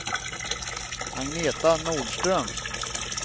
Agneta Nordström